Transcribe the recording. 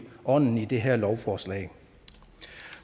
ånden i det her lovforslag